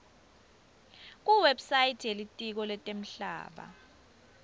kuwebsite yelitiko letemhlaba